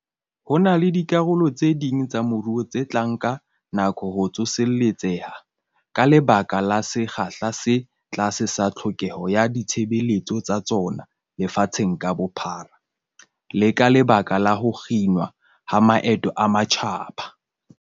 Ho na le dikarolo tse ding tsa moruo tse tla nka nako ho tsoseletseha ka lebaka la sekgahla se tlase sa tlhokeho ya ditshebeletso tsa tsona lefatsheng ka bophara, le ka lebaka la ho kginwa ha maeto a matjhaba.